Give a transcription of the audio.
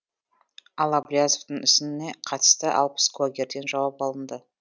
ал әблязовтың ісіне қатысты алпыс куәгерден жауап алынды